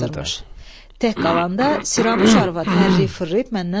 Tək qalanda Siranuş arvad hərriyi fırlıyıb məndən soruşdu.